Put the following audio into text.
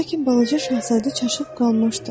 Lakin balaca şahzadə çaşıb qalmışdı.